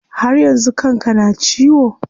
Har yanzu kan ka na ciwo?